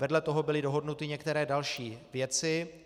Vedle toho byly dohodnuty některé další věci.